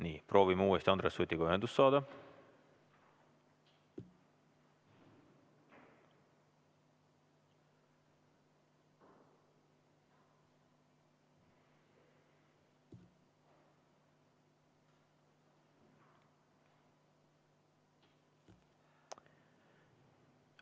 Nii, proovime uuesti Andres Sutiga ühendust saada.